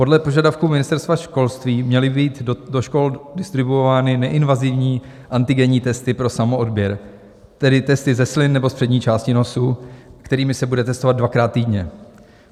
Podle požadavků Ministerstva školství měly být do škol distribuovány neinvazivní antigenní testy pro samoodběr, tedy testy ze slin nebo z přední části nosu, kterými se bude testovat dvakrát týdně.